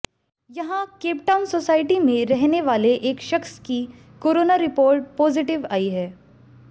यहां Cape Town society में रहने वाले एक शख्स की कोरोना रिपोर्ट पॉजिटिव आई है